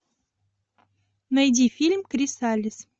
найди фильм крисалис